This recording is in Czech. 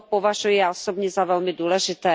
To považuji, já osobně, za velmi důležité.